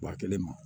Wa kelen ma